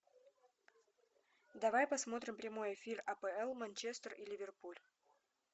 давай посмотрим прямой эфир апл манчестер и ливерпуль